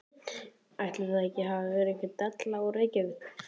Ætli það hafi ekki verið einhver deli úr Reykjavík.